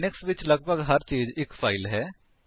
Linux ਵਿੱਚ ਲੱਗਭਗ ਹਰ ਚੀਜ਼ ਇੱਕ ਫਾਇਲ ਹੈ